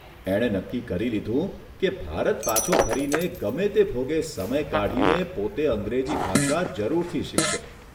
એણે નક્કી કરી લીધું કે ભારત પાછો ફરીને ગમે તે ભોગે સમય કાઢીને પોતે અંગ્રેજી ભાષા જરૂરથી શીખશે.